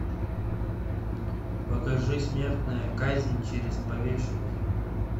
покажи смертная казнь через повешение